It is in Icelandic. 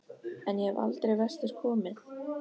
En ég hef aldrei vestur komið.